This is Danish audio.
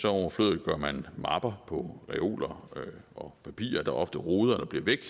overflødiggør man mapper på reoler og papirer der ofte roder eller bliver væk